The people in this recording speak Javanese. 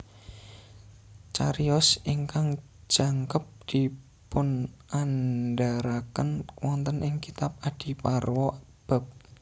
Cariyos ingkang jangkep dipunandharaken wonten ing kitab Adiparwa bab